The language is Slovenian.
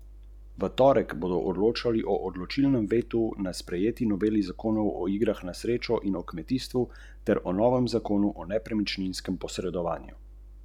Še slabše pa kaže pri vrednotenju delovnih mest, primerljivih z zdravniškimi.